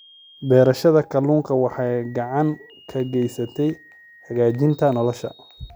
Beerashada kalluunku waxay gacan ka geysataa hagaajinta nolosha.